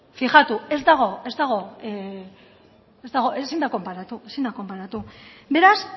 fijatu ez dago ez dago ezin da konparatu ezin da konparatu beraz